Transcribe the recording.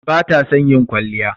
Bata son ƴin kwalliya.